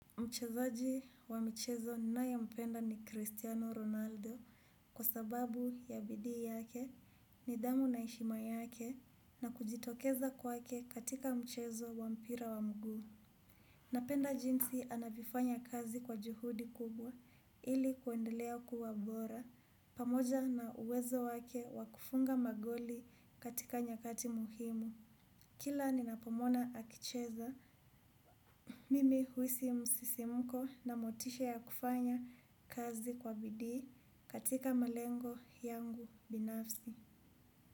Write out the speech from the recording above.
Mchezaji wa mchezo ninayempenda ni Cristiano Ronaldo kwa sababu ya bidii yake, nidhamu na heshima yake na kujitokeza kwake katika mchezo wa mpira wa mguu. Napenda jinsi anavyofanya kazi kwa juhudi kubwa ili kuendelea kuwa bora pamoja na uwezo wake wakufunga magoli katika nyakati muhimu. Kila ninapomuona akicheza, mimi huisi msisimuko na motisha ya kufanya kazi kwa bidii katika malengo yangu binafsi.